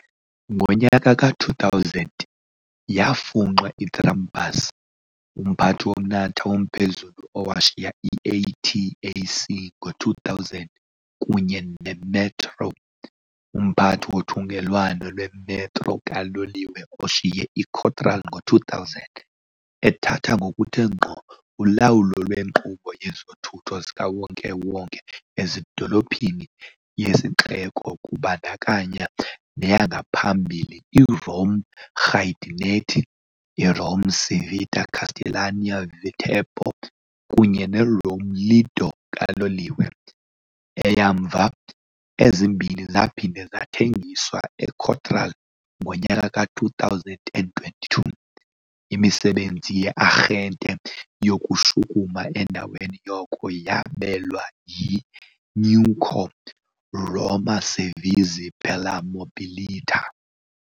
Ngo-2010 yafunxa iTrambus, umphathi womnatha womphezulu owashiya i-ATAC ngo-2000, kunye ne-Met. Ro., umphathi wothungelwano lwe-metro kaloliwe oshiye i- Cotral ngo-2000, ethatha ngokuthe ngqo ulawulo lwenkqubo yezothutho zikawonke-wonke ezidolophini yesixeko kubandakanya neyangaphambili i-Rome-Giardinetti, i-Rome-Civita Castellana-Viterbo kunye ne -Rome-Lido kaloliwe, eyamva. ezimbini zaphinda zathengiswa eCotral ngo-2022, imisebenzi ye-arhente yokushukuma endaweni yoko yabelwa i-newco Roma Servizi per la Mobilità.